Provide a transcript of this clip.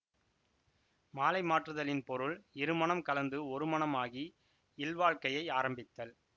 மாலை மாற்றுதலின் பொருள் இருமனம் கலந்து ஒரு மனமாகி இல்வாழ்க்கையை ஆரம்பித்தல்